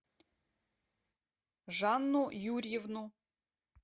жанну юрьевну